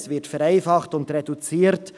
Es wird vereinfacht und reduziert.